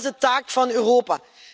En dat is de taak van Europa.